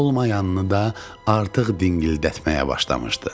Olmayanını da artıq dingildətməyə başlamışdı.